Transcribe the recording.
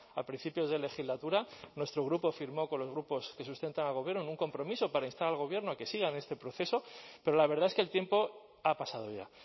a principios de legislatura nuestro grupo firmó con los grupos que sustentan al gobierno un compromiso para instar al gobierno a que sigan en este proceso pero la verdad es que el tiempo ha pasado ya